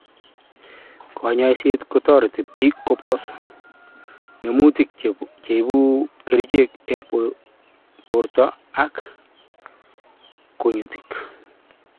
Konyoiset kotoreti bik kobos ngemutik cheibu kerichek en borto ak kunyutik